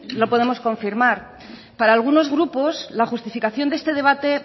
lo podemos confirmar para algunos grupos la justificación de este debate